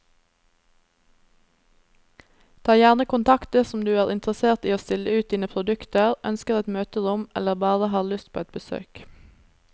Ta gjerne kontakt dersom du er interessert i å stille ut dine produkter, ønsker et møterom eller bare har lyst på et besøk.